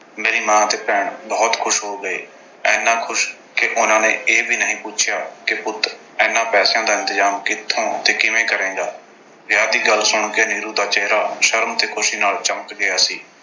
ਮੇਰੀ ਮਾਂ ਤੇ ਭੈਣ ਬਹੁਤ ਖੁਸ਼ ਹੋ ਗਏ। ਇੰਨਾ ਖੁਸ਼ ਕਿ ਉਨ੍ਹਾਂ ਨੇ ਇਹ ਵੀ ਨਹੀਂ ਪੁੱਛਿਆ ਕਿ ਪੁੱਤ ਇਨ੍ਹਾਂ ਪੈਸਿਆਂ ਦਾ ਇੰਤਜ਼ਾਮ ਕਿੱਥੋਂ ਤੇ ਕਿਵੇਂ ਕਰੇਂਗਾ। ਵਿਆਹ ਦੀ ਗੱਲ ਸੁਣ ਕੇ ਨੀਰੂ ਦਾ ਚਿਹਰਾ ਸ਼ਰਮ ਤੇ ਖੁਸ਼ੀ ਨਾਲ ਚਮਕ ਗਿਆ ਸੀ।